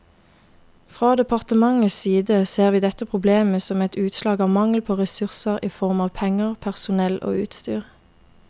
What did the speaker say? Fra departementets side ser vi dette problemet som et utslag av mangel på ressurser i form av penger, personell og utstyr.